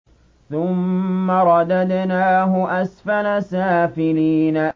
ثُمَّ رَدَدْنَاهُ أَسْفَلَ سَافِلِينَ